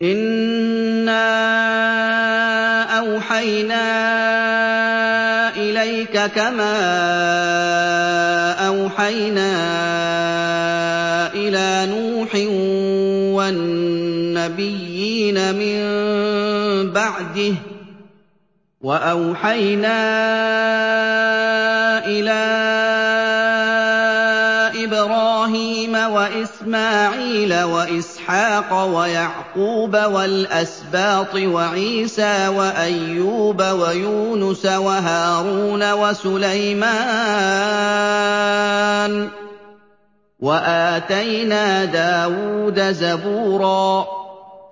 ۞ إِنَّا أَوْحَيْنَا إِلَيْكَ كَمَا أَوْحَيْنَا إِلَىٰ نُوحٍ وَالنَّبِيِّينَ مِن بَعْدِهِ ۚ وَأَوْحَيْنَا إِلَىٰ إِبْرَاهِيمَ وَإِسْمَاعِيلَ وَإِسْحَاقَ وَيَعْقُوبَ وَالْأَسْبَاطِ وَعِيسَىٰ وَأَيُّوبَ وَيُونُسَ وَهَارُونَ وَسُلَيْمَانَ ۚ وَآتَيْنَا دَاوُودَ زَبُورًا